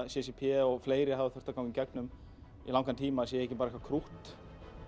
c c p og fleiri hafa þurft að ganga í gegnum í langan tíma sé ekki bara eitthvað krútt